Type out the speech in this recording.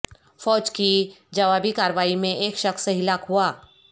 فوج کی جوابی کارروائی میں ایک شخص ہلاک ہوا